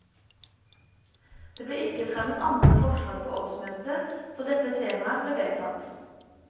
Det ble ikke fremmet andre forslag på årsmøtet, så dette temaet ble vedtatt.